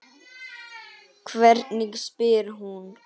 Hvernig spyr hún?